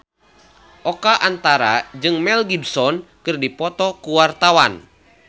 Oka Antara jeung Mel Gibson keur dipoto ku wartawan